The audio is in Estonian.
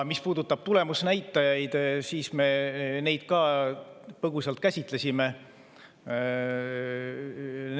Mis puudutab tulemusnäitajaid, siis me neid ka põgusalt käsitlesime.